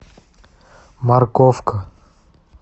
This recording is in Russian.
морковка